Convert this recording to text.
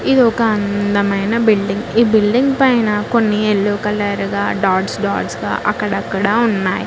ఇది ఒక అందమైన బిల్డింగ్ ఈ బిల్డింగ్ పైన కొన్ని ఎల్లో కలర్ గా డాట్స్ డాట్స్ గా అక్కడక్కడ ఉన్నాయి.